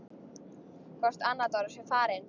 Hvort Anna Dóra sé farin.